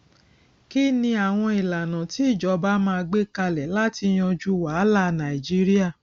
kí ni àwọn ìlànà tí ìjọba máa gbé kalẹ láti yanjú wàhálà nàìjíríà